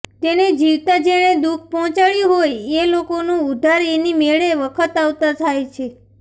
તેને જીવતાં જેણે દુઃખ પહોંચાડયું હોય એ લોકોનું ઉધાર એની મેળે વખત આવતા થાય છે